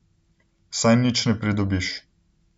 Saj nič ne pridobiš.